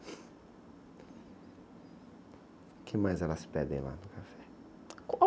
O que mais elas pedem lá no café?